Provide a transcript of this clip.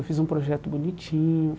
Eu fiz um projeto bonitinho.